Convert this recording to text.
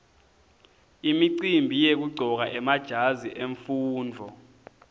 imicimbi yekuqcoka emajazi emfundvo